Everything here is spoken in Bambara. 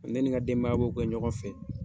N'in nka denbaya b' kɛ ɲɔgɔn fɛ